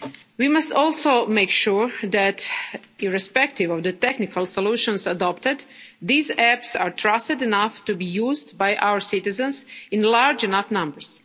We must also make sure that, irrespective of the technical solutions adopted, these apps are trusted enough to be used by our citizens in large enough numbers.